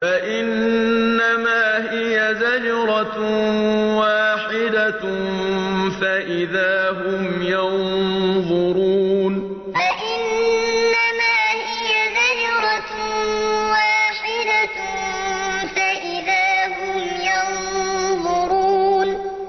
فَإِنَّمَا هِيَ زَجْرَةٌ وَاحِدَةٌ فَإِذَا هُمْ يَنظُرُونَ فَإِنَّمَا هِيَ زَجْرَةٌ وَاحِدَةٌ فَإِذَا هُمْ يَنظُرُونَ